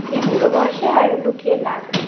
এই বুড়ো বয়সে আর লুকিয়ে লাভ নেই